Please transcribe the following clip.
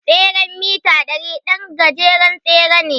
tseren mita ɗari ɗan gajeren tsere ne.